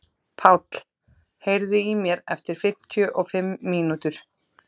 Páll, heyrðu í mér eftir fimmtíu og fimm mínútur.